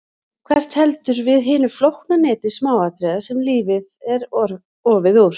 Hver heldur við hinu flókna neti smáatriða sem lífið er ofið úr?